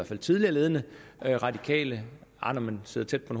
fald tidligere ledende radikale nej når man sidder tæt på